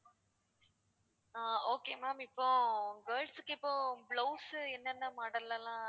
ஆஹ் okay ma'am இப்போ girls க்கு இப்போ blouse உ என்னென்ன model ல எல்லாம்